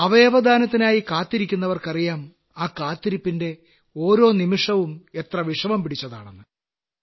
അവയവദാനത്തിനായി കാത്തിരിക്കുന്നവർക്കറിയാം ആ കാത്തിരിപ്പിന്റെ ഓരോ നിമിഷവും എത്ര വിഷമം പിടിച്ചതാണെന്ന്